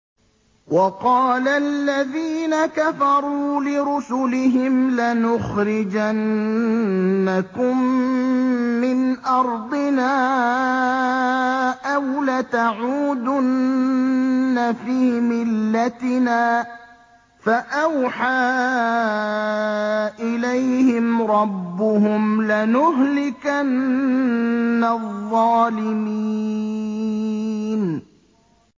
وَقَالَ الَّذِينَ كَفَرُوا لِرُسُلِهِمْ لَنُخْرِجَنَّكُم مِّنْ أَرْضِنَا أَوْ لَتَعُودُنَّ فِي مِلَّتِنَا ۖ فَأَوْحَىٰ إِلَيْهِمْ رَبُّهُمْ لَنُهْلِكَنَّ الظَّالِمِينَ